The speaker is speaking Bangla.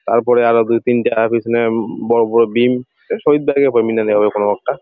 তারপরে আবার দুই তিনটা পিছনে বড় বড় ডিম কোন একটা ।